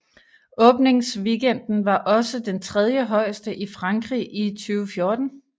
Åbingsweekenden var også den trediehøjeste i Frankrig i 2014